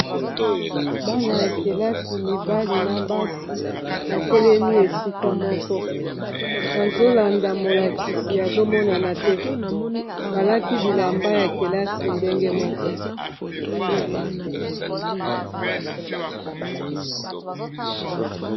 bana ya kelasi mibali na basi batelemi esika moko bazolanda molakisi azomonana te balati bilamba ya kelasi ndenge moko